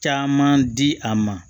Caman di a ma